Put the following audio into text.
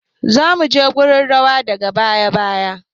Za mu je wurin don rawa daga baya.